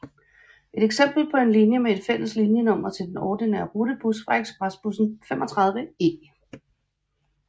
Et eksempel på en linje med et fælles linjenummer til den ordinære rutebus var ekspresbussen 35E